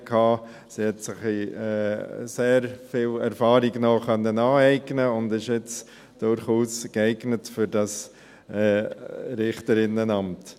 Sie konnte sich noch sehr viel Erfahrung aneignen und ist nun durchaus geeignet für das Richterinnenamt.